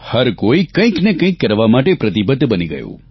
હર કોઇ કંઇક ને કંઇક કરવા માટે પ્રતિબદ્ધ બની ગયું